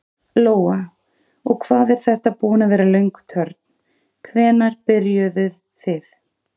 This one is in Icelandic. Lóa: Og hvað er þetta búin að vera löng törn, hvenær byrjuðuð þið?